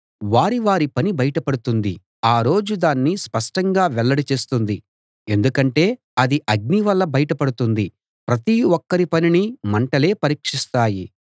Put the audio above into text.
వారి వారి పని బయట పడుతుంది ఆ రోజు దాన్ని స్పష్టంగా వెల్లడి చేస్తుంది ఎందుకంటే అది అగ్నివల్ల బయట పడుతుంది ప్రతి ఒక్కరి పనినీ మంటలే పరీక్షిస్తాయి